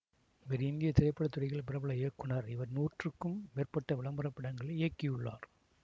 இவர் இந்திய திரைப்பட துறையில் பிரபல இயக்குநர் இவர் நூற்றுக்கும் மேற்பட்ட விளம்பர படங்களை இயக்கியுள்ளார்